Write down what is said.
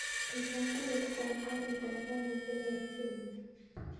Tilwan tiketit ab garit ab maat newendi nairobi koron